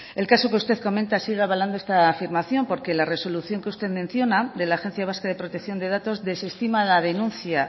el caso que usted comenta sigue avalando esta afirmación porque la resolución que usted menciona de la agencia vasca de protección de datos desestima la denuncia